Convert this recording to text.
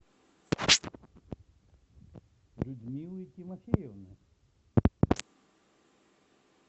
людмилы тимофеевны